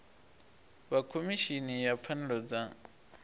vha khomishini ya pfanelo dza